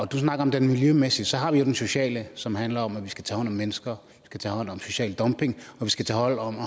du snakker om den miljømæssige og så har vi jo den sociale som handler om at vi skal tage hånd om mennesker tage hånd om social dumping og vi skal tage hånd om